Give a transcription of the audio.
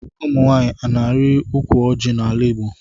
Ụmụnwanyi ọna ari ukwu ọji na ala igbo.